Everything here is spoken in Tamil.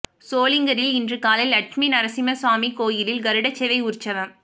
சோளிங்கரில் இன்று காலை லட்சுமி நரசிம்ம சுவாமி கோயிலில் கருடசேவை உற்சவம்